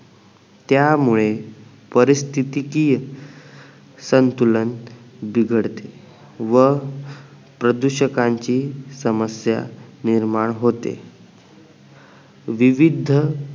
त्यामुळे परीस्तीतीकीय संतुलन बिघडते व प्रदूषकांची समस्या निर्माण होते विविद्ध